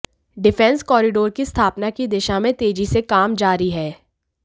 defence corridor की स्थापना की दिशा में तेजी से काम जारी है